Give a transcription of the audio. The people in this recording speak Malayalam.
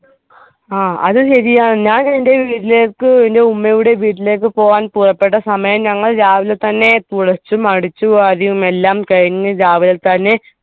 അത് ശരിയാണ് വീട്ടിലേക് എൻ്റെ ഉമ്മയുടെ വീട്ടിലേക് പോവാൻ പുറപ്പെട്ട സമയം ഞങ്ങൾ രാവിലെ തന്നെ കുളിച്ചും അടിച്ചു വാരിയും എല്ലാം കഴിഞ്ഞ് രാവിലെതന്നെ